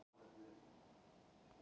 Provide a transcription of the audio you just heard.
Þetta var mín krafa